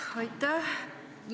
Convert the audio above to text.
Jah, aitäh!